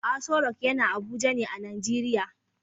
Asorock is located in Abuja Nigeria